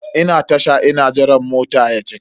Ina Tasha ina jiran mota ya cika.